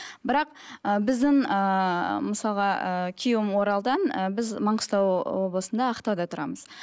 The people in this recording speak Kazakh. бірақ ы біздің ыыы мысалға ыыы күйеуім оралдан ыыы біз маңғыстау облысында ақтауда тұрамыз